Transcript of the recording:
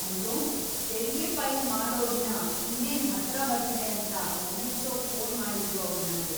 ಅಯ್ಯೋ! ತೆರಿಗೆ ಫೈಲ್‌ ಮಾಡೋ ದಿನ ಇನ್ನೇನ್ ಹತ್ರ ಬರ್ತಿದೆ ಅಂತ ನೆನಪ್ಸೋಕ್ ಫೋನ್‌ ಮಾಡಿದ್ರು ಅವ್ರ್‌ ನಮ್ಗೆ.